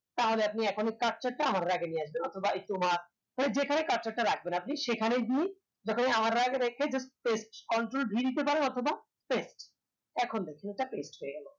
তাহলে আপনি cursor টা আমার এর আগে নিয়ে আসবেন অথবা ধরেন আপনি cursor টা রাখবেন আপনি সেখানে গিয়েই যখন আমার এর আগে রেখেই just paste control v দিতে পারেন অথবা paste এখন দেখেন জিনিসটা paste হয়ে গেল